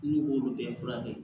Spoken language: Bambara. N'u b'olu bɛɛ furakɛ